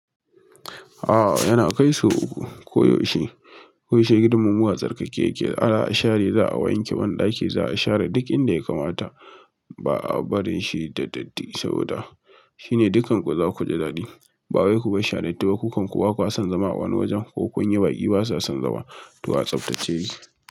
A'a yana kai su koyaushe, koyaushe gidanmu a tsarkake yake, ana share za a wanke banɗaki, za a share duk inda ya kamata ba a barin shi da datti saboda shi ne dukkan ku za ku ji daɗi ba wai kubarshi a datti ba ku kanku ba kusan zama a wani wajen ko kun yi baƙi ba sa son zama. Gaskiya a tsaftace yake.